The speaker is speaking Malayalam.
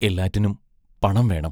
എല്ലാറ്റിനും പണം വേണം.